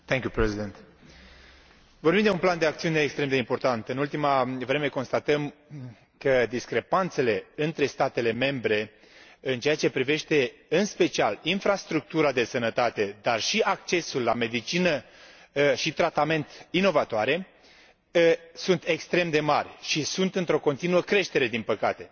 Domnule președinte, vorbim de un plan de acțiune extrem de important. În ultima vreme, constatăm că discrepanțele între statele membre în ceea ce privește, în special, infrastructura de sănătate, dar și accesul la medicină și tratament inovatoare sunt extrem de mari și sunt într o continuă creștere, din păcate.